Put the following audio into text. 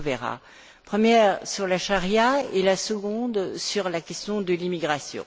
Provera la première porte sur la charia et la seconde, sur la question de l'immigration.